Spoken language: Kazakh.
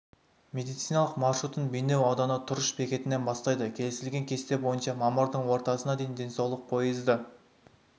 медициналық маршрутын бейнеу ауданы тұрыш бекетінен бастайды келісілген кесте бойынша мамырдың ортасына дейін денсаулық поезды